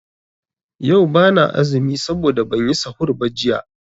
Yau bana azumi saboda banyi sahur ba jiya.